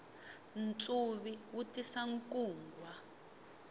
ntsuvi wu tisa nkungwa